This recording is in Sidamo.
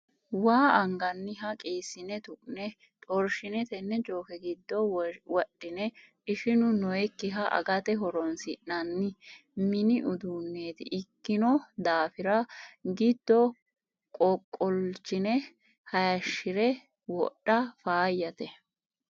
waa anganniha qiisine tu'ne xorshine tene jokke giddo wodhine ishinu nooyikkiha agate horonsi'nanni mini uduuneti ikkino daafira giddodo qoqolchine hayishire wodha faayyate.